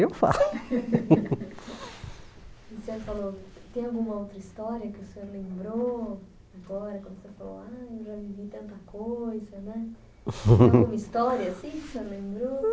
Eu falo E você falou, tem alguma outra história que o senhor lembrou? né tem alguma história assim que o senhor lembrou